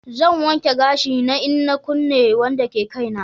Zan wanke gashin na in na kunce Wanda ke Kai na.